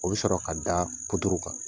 O bɛ sɔrɔ ka da kan .